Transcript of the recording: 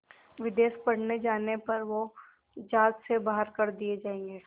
विदेश पढ़ने जाने पर वो ज़ात से बाहर कर दिए जाएंगे